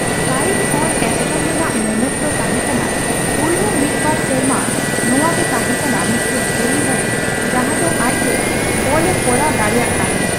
ᱥᱟᱭᱤᱰᱼᱚᱱ action ᱨᱮᱱᱟᱜ ᱢᱮᱱᱮᱫ ᱫᱚ ᱛᱟᱦᱮᱠᱟᱱᱟ ᱯᱳᱭᱞᱳ ᱢᱤᱫ ᱵᱟᱨ ᱥᱮᱨᱢᱟ ᱱᱚᱣᱟ ᱜᱮ ᱛᱟᱦᱮᱠᱟᱱᱟ ᱢᱤᱫᱴᱟᱝ ᱰᱮᱞᱤᱵᱷᱟᱨᱤ ᱡᱟᱸᱦᱟ ᱫᱚ ᱟᱡᱜᱮ ᱵᱚᱞ ᱮ ᱠᱚᱨᱟᱣ ᱫᱟᱲᱮᱭᱟᱜ ᱛᱟᱦᱮᱫ ᱾